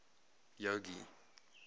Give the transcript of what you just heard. jogee